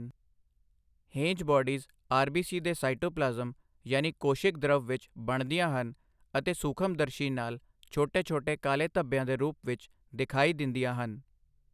Heinz bodies RBC ਦੇ cytoplasm ਯਾਨੀ ਕੋਸ਼ਿਕ ਦ੍ਰਵ ਵਿੱਚ ਬਣਦੀਆਂ ਹਨ ਅਤੇ ਸੂਖਮਦਰਸ਼ੀ ਨਾਲ ਛੋਟੇ ਛੋਟੇ ਕਾਲੇ ਧੱਬਿਆਂ ਦੇ ਰੂਪ ਵਿੱਚ ਦਿਖਾਈ ਦਿੰਦੀਆਂ ਹਨ।